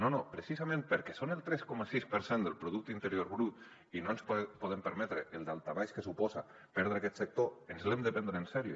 no no precisament perquè són el tres coma sis per cent del producte interior brut i no ens podem permetre el daltabaix que suposa perdre aquest sector ens l’hem de prendre en sèrio